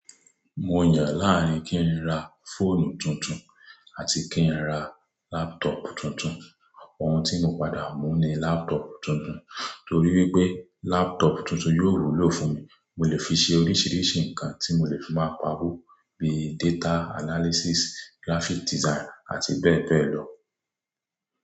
Mo yàn láàrín kí n ra fóònù tuntun àti kí n ra laptop tuntun, ohun tí mo padà mú ni kí n ra laptop tuntun, torí wípé laptop tuntun yóò wúlò fún mi mo lè fi ṣe oríṣiríṣi ǹkan tí mo lè fi máa p'awo bí data analysis, graphics design àti bẹ́ẹ̀ bẹ́ẹ̀ lọ.